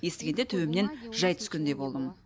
естігенде төбемнен жай түскендей болдым